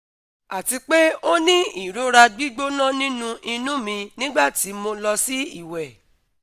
ati pe o ni irora gbigbona ninu inu mi nigbati mo lọ si iwẹ